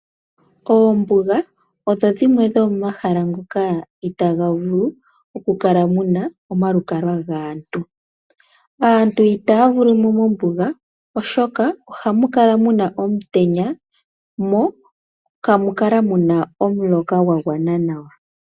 Oombuga odho dhimwe dho momahala ngoka itaa ga vulu oku kala mu na omalukalwa gaantu. Aantu itaa vulu mo mombuga, oshoka oha mu kala mu na omutenya, mo kamu kala mu na omuloka gwa gwana nawa.